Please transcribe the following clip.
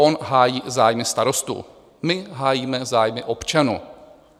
On hájí zájmy starostů, my hájíme zájmy občanů.